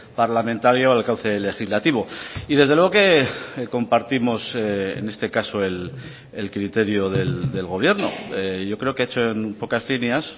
parlamentario al cauce legislativo y desde luego que compartimos en este caso el criterio del gobierno yo creo que ha hecho en pocas líneas